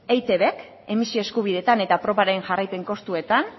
eitbk emisio eskubideetan eta probaren jarraipen kostuetan